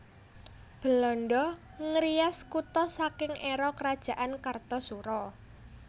Belanda ngrias kutha saking éra Kerajaan Kartasura